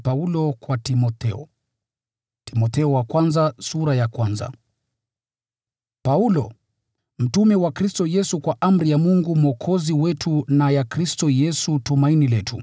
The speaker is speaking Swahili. Paulo, mtume wa Kristo Yesu kwa amri ya Mungu Mwokozi wetu na ya Kristo Yesu tumaini letu.